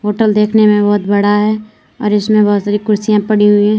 Hotel देखने में बहुत बड़ा है और इसमें बहुत सारी कुर्सियां पड़ी हुई हैं।